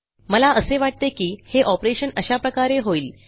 मला असे वाटते की हे ऑपरेशन अशा प्रकारे होईल